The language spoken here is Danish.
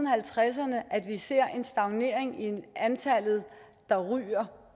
halvtredserne set at antallet af rygere